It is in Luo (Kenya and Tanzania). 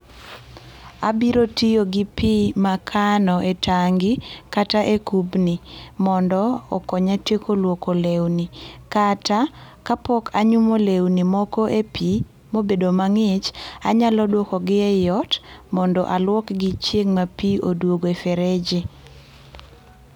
Abiro tiyo gi pii ma akano e tangi kata e kubni mondo okonya tieko luoko lewni kata kapok anyumo lewni moko e pii mobedo mangich anyalo duoko gi ei ot mondo aluokgi chieng moro ka pii oduogo e fereji